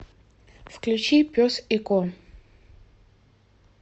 включи пес и ко